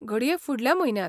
घडये फुडल्या म्हयन्याक.